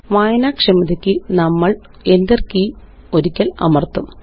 വായനാക്ഷമതയ്ക്ക് നമ്മള് Enter key ഒരിക്കല് അമര്ത്തും